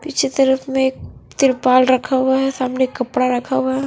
पिछे तरफ में एक तिरपाल रखा हुआ है सामने एक कपड़ा रखा हुआ है।